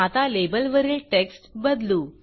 आता लेबलवरील टेक्स्ट बदलू